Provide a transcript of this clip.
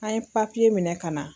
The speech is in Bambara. An ye papiye minɛ ka na.